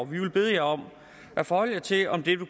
vi vil bede jer om at forholde jer til om dette